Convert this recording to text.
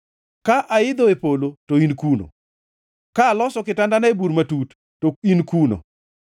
Ka aidho e polo, to in kuno; ka aloso kitandana e bur matut, to in kuno.